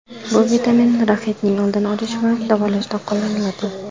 Bu vitamin raxitning oldini olish va davolashda qo‘llaniladi.